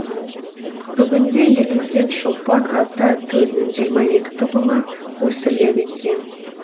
бүгінде елімізде шопан ата төлінің жиырма екі тұқымы өсіріледі екен